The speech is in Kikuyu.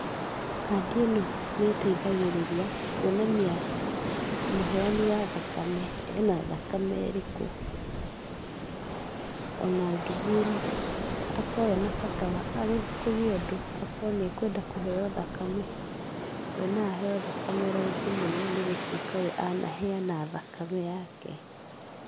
Kandi ĩno nĩĩteithagĩrĩria kuonania mũheani wa thakame ena thakame ĩrĩkũ, ona angĩthiĩ akorwo ena bata wa, kũgĩe ũndũ akorwo nĩekwenda kũheyo thakame, we no aheyo thakame raithi mũno nĩgũtuĩka we anaheana thakame yake.